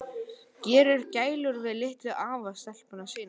Gerir gælur við litlu afastelpuna sína.